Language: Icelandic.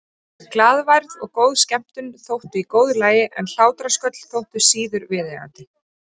Glaðværð og góð skemmtun þóttu í góðu lagi en hlátrasköll þóttu síður viðeigandi.